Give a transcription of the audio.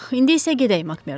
İndi isə gedək Makmerdo.